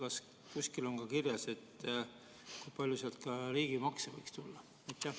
Kas kusagil on ka kirjas, kui palju sealt riigimakse võiks tulla?